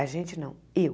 A gente não, eu.